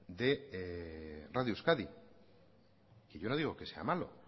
de radio euskadi que yo no digo que sea malo